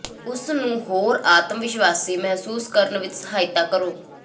ਉਸ ਨੂੰ ਹੋਰ ਆਤਮ ਵਿਸ਼ਵਾਸ਼ੀ ਮਹਿਸੂਸ ਕਰਨ ਵਿੱਚ ਸਹਾਇਤਾ ਕਰੋ